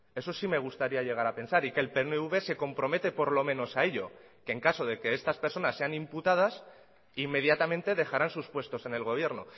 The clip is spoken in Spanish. eso sí me gustaría llegar a pensar y que el pnv se compromete por lo menos a ello que en caso de que estas personas sean imputadas inmediatamente dejarán sus puestos en el gobierno